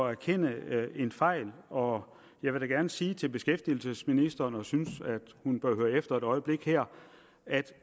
erkende en fejl og jeg vil da gerne sige til beskæftigelsesministeren og synes at hun bør høre efter et øjeblik her at